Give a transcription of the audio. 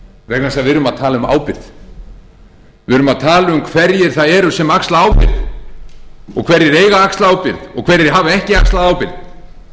að við erum að tala um ábyrgð við erum að tala um hverjir það eru sem axla ábyrgð og hverjir eiga að axla ábyrgð og hverjir hafa ekki axlað ábyrgð